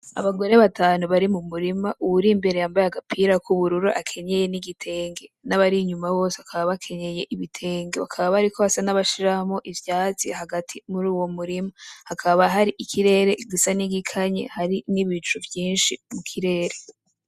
Abagore batanu bari mumurima uwurimbere yambaye agapira kubururu akenyeye n' igitenge, nabarinyuma bose bakenyeye ibitenge bakaba bariko basa nabashiramwo ivyatsi hagati muruwo murima, hakaba harikirere gisa nigikanye gifise nibicu vyinshi mu kirere.